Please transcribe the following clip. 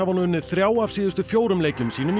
nú unnið þrjá af síðustu fjórum leikjum sínum í